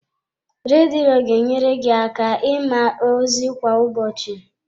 Redio ga enyere gị aka ịma ozi kwa ụbọchị.